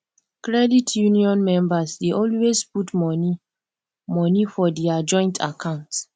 credit union members dey always put money money for dia joint account